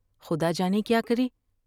خدا جانے کیا کرے ۔